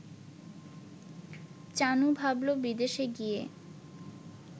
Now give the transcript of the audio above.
চানু ভাবল-বিদেশে গিয়ে